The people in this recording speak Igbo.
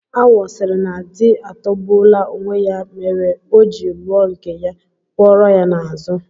Awọ sịrị na di atọgbuola onwe ya mere o ji lụọ nke ya, kwọrọ ya n'azụ